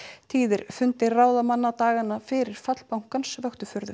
tíðir fundir ráðamanna dagana fyrir fall bankans vöktu furðu